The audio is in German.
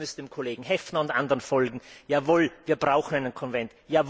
Man müsste dem Kollegen Häfner und anderen folgen. Jawohl, wir brauchen einen Konvent.